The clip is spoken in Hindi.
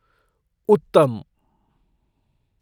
उत्तम!